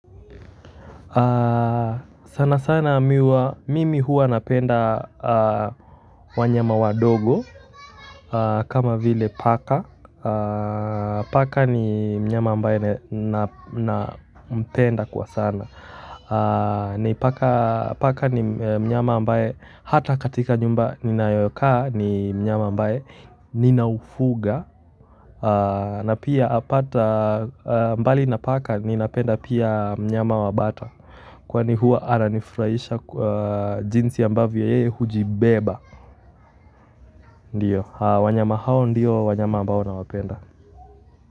Sana sana mimi huwa napenda wanyama wadogo kama vile paka paka ni mnyama ambaye nampenda kwa sana paka ni mnyama ambaye hata katika nyumba ninayokaa ni mnyama ambaye nina ufuga na pia mbali na paka ni napenda pia mnyama wa bata kwani huwa ananifurahisha jinsi ambavyo yeye hujibeba ndiyo, wanyama hao ndiyo wanyama ambao nawapenda.